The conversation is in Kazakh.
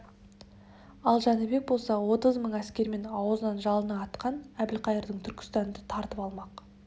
ал жәнібек болса отыз мың әскермен аузынан жалыны атқан әбілқайырдан түркістанды тартып алмақ